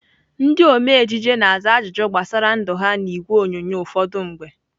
Ndị ome ejije na-aza ajụjụ gbasara ndụ ha n'ìgwè onyonyo ụfọdụ mgbe.